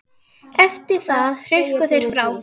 Eftir það hrukku þeir frá.